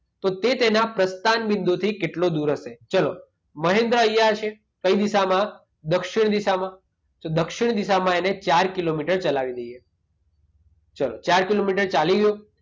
તો તે તેના પ્રસ્થાન બિંદુથી કેટલો દૂર હશે? ચાલો મહેન્દ્ર અહીંયા છે. કઈ દિશામાં? દક્ષિણ દિશામાં. તો દક્ષિણ દિશામાં એના ચાર કિલોમીટર ચલાવી દઈએ. ચાલો. ચાર કિલોમીટર ચાલી ગયો.